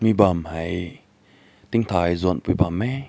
bam hai ting tai züan mai bam meh.